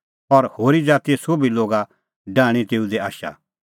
और होरी ज़ातीए सोभी लोगा डाहणीं तेऊ दी आशा